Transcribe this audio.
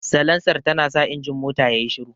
Salansar tanasa injin motar yayi shiru.